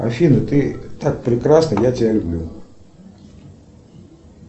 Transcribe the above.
афина ты так прекрасна я тебя люблю